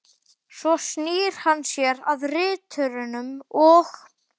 Svo snýr hann sér að riturunum og